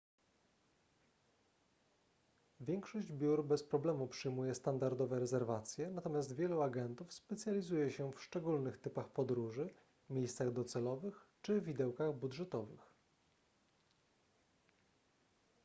większość biur bez problemu przyjmuje standardowe rezerwacje natomiast wielu agentów specjalizuje się w szczególnych typach podróży miejscach docelowych czy widełkach budżetowych